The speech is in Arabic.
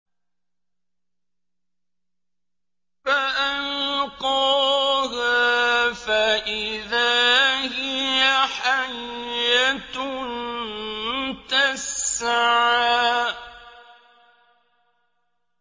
فَأَلْقَاهَا فَإِذَا هِيَ حَيَّةٌ تَسْعَىٰ